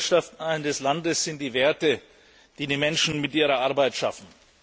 Der Wohlstand eines Landes sind die Werte, die die Menschen mit ihrer Arbeit schaffen.